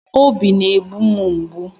Obi na-egbu m mgbu